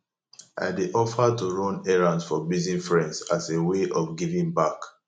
i dey offer to run errands for busy friends as a way of giving back